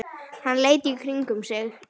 Hann leit í kringum sig.